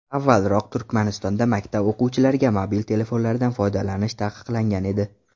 Avvalroq Turkmanistonda maktab o‘quvchilariga mobil telefonlardan foydalanish taqiqlangan edi.